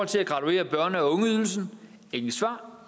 til at graduere børne og ungeydelsen intet svar